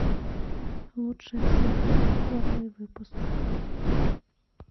лучше всех первый выпуск